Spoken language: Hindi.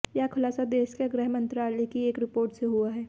यह खुलासा देश के गृह मंत्रालय की एक रिपोर्ट से हुआ है